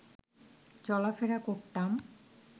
চলাফেরা করতাম